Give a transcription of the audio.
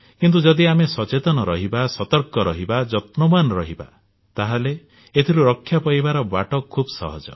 କିନ୍ତୁ ଯଦି ଆମେ ସଚେତନ ରହିବା ସତର୍କ ରହିବା ଯତ୍ନବାନ ରହିବା ତାହେଲେ ଏଥିରୁ ରକ୍ଷା ପାଇବାର ବାଟ ଖୁବ୍ ସହଜ